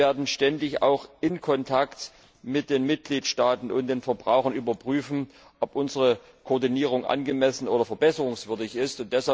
Wir werden auch ständig in Kontakt mit den Mitgliedstaaten und den Verbrauchern überprüfen, ob unsere Koordinierung angemessen oder verbesserungswürdig ist.